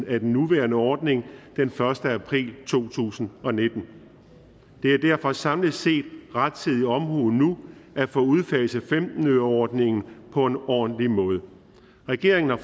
af den nuværende ordning den første april to tusind og nitten det er derfor samlet set rettidig omhu nu at få udfaset femten øreordningen på en ordentlig måde regeringen har